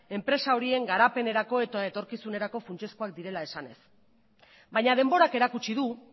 enpresa horien garapenerako eta etorkizunerako funtsezkoak direla esanez baina denborak erakutsi du